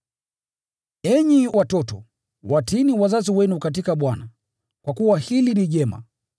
Enyi watoto, watiini wazazi wenu katika Bwana, kwa kuwa hili ni jema.